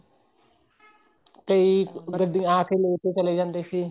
ਕਈ ਗੱਡੀਆਂ ਚ ਆਕੇ ਲੋਕ ਚਲੇ ਜਾਂਦੇ ਸੀ